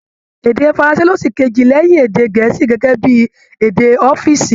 Èdè faranse ló ṣìkejì lẹ́yìn èdè Gẹ̀ẹ́sì gẹ́gẹ́ bí èdè ọ́fììsì